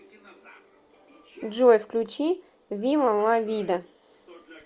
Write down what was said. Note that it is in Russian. джой включи вива ла вида